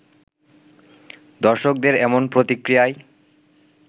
দর্শকদের এমন প্রতিক্রিয়ায়